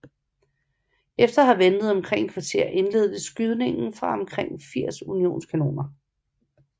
Efter at have ventet omkring et kvarter indledtes skydningen fra omkring 80 unionskanoner